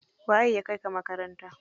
Waye ya kaika makaranta?